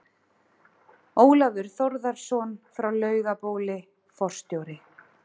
Ólafur Þórðarson frá Laugabóli, forstjóri